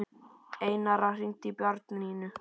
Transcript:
Einara, hringdu í Bjarnnýju.